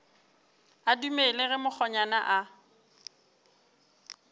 a dumele ge mokgonyana a